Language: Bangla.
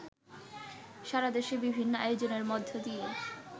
সারাদেশে বিভিন্ন আয়োজনের মধ্য দিয়ে